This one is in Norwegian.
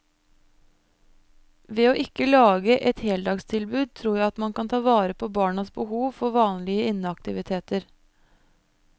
Ved å ikke lage et heldagstilbud tror jeg at man kan ta vare på barnas behov for vanlige inneaktiviteter.